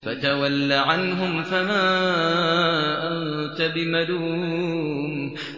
فَتَوَلَّ عَنْهُمْ فَمَا أَنتَ بِمَلُومٍ